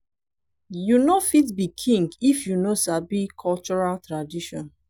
you no fit be king if you no sabi cultural tradition